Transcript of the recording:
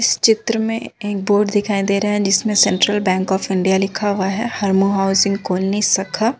इस चित्र में एक बोर्ड दिखाई दे रहा है जिस पे सेंट्रल बैंक ऑफ़ इंडिया लिखा हुआ है हरमू हाउसिंग कॉलोनी शाखा।